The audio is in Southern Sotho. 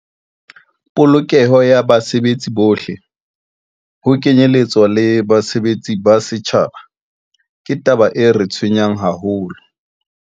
Polokeho ya basebetsi bohle, ho kenyeletswa le basebeletsi ba setjhaba, ke taba e re tshwenyang haholo.